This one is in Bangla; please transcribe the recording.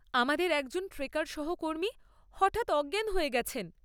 আমাদের একজন ট্রেকার সহকর্মী হঠাৎ অজ্ঞান হয়ে গেছেন।